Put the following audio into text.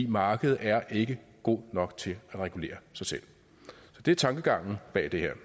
markedet ikke god nok til at regulere sig selv så det er tankegangen bag det her